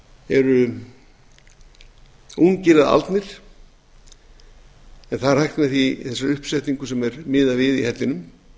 eru ungir eða aldnir en það er hægt með þessari uppsetningu sem er miðað við í hellinum